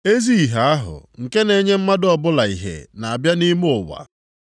Ezi ìhè ahụ nke na-enye mmadụ ọbụla ìhè na-abịa nʼime ụwa.